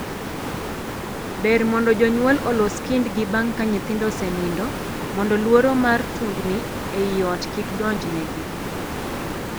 Ber mondo jonyuol olos kindgi bang' ka nyithindo osenindo mondo luoro mar tungni ei ot kik donjnegi.